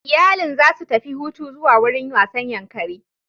Iyalin za su tafi hutu zuwa wurin wasan Yankari